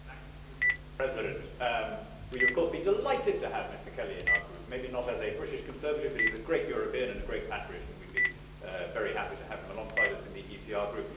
Mr President, we would of course be delighted to have Mr Kelly in our group, maybe not as a British Conservative, but he is a great European and a great patriot and we would be very happy to have him alongside us in the ECR Group.